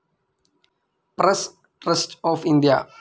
press trust of India